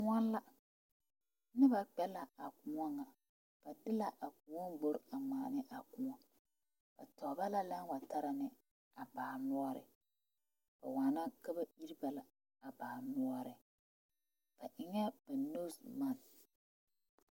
Kõɔ la noba kpɛ la a kõɔ kaŋa ba be la a kõɔ gbore a ŋmaane a kõɔ ba taa ba a lɛɛ wa taara ne a baa noɔre ba waana ka ba iri ba la a baa noɔre ba eŋa ba nose macks.